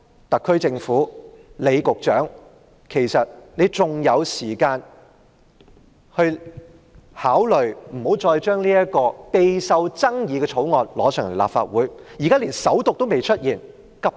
特區政府和李局長還有時間，可以考慮不要把這項備受爭議的《條例草案》提交立法會，現時《條例草案》尚未首讀，無需急於處理。